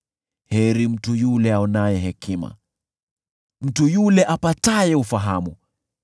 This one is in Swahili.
Heri mtu yule aonaye hekima, mtu yule apataye ufahamu,